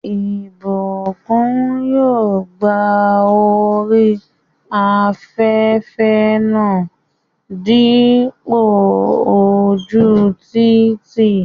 Ìbùkún yóò gba orí afẹ́rẹ́ náà dípò ojú títì